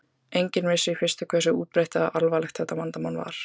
Enginn vissi í fyrstu hversu útbreitt eða hversu alvarlegt þetta vandamál var.